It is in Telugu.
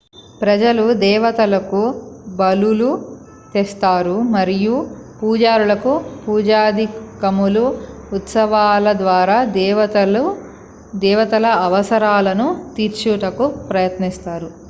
ప్రజలు దేవతలకు బలులు తెస్తారు మరియు పూజారులు పూజాదికములు ఉత్సవాల ద్వారా దేవతల అవసరాలను తీర్చుటకు ప్రయత్నిస్తారు